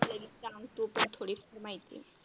हा पल्लवी सांग तू थोडीफार माहिती.